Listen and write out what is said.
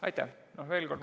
Aitäh!